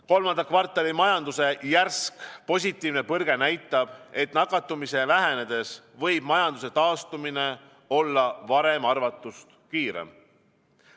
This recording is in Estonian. Kolmanda kvartali majanduse järsk positiivne põrge näitab, et nakatumise vähenedes võib majanduse taastumine olla varem arvatust kiirem.